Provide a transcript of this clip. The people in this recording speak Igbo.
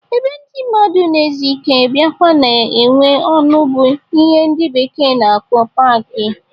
Ebe ndị mmadụ na-ezu ike biakwa na-enwe ọṅụ bụ ihe ndị bekee na-akpọ paaki.